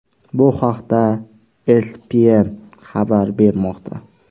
Bu haqda ESPN xabar bermoqda .